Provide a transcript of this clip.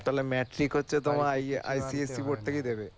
তাহলে এ তোমার থেকেই দিবে